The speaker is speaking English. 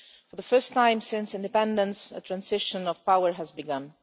For the first time since independence, a transition of power has begun.